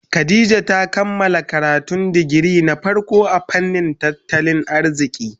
Khadijah ta kammala karatun digiri na farko a fannin tattalin arziki.